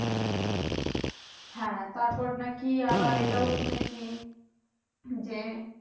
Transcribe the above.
হ্যাঁ তারপর নাকি আবার এটাই শুনেছি যে